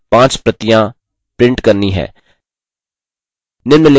आपको notes की पाँच प्रतियाँ print करनी हैं